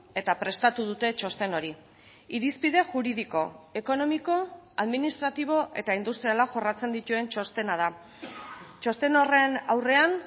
eta prestatu dute txosten hori irizpide juridiko ekonomiko administratibo eta industriala jorratzen dituen txostena da txosten horren aurrean